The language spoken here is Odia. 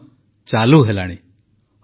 ଅନ୍ୟ ସ୍ପେଶାଲ ଟ୍ରେନ ଗୁଡ଼ିକ ମଧ୍ୟ ଚାଲିଲାଣି